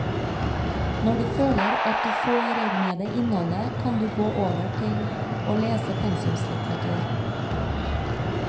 Når du føler at du får med deg innholdet, kan du gå over til å lese pensumlitteratur.